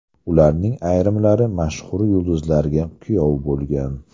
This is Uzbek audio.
Ularning ayrimlari mashhur yulduzlarga kuyov bo‘lgan.